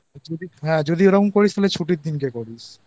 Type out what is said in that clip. যদি এরম করিস তো ছুটির দিন করিস তাহলেI